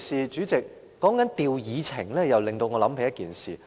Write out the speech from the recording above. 主席，提到調動議程，又令我想起一件事。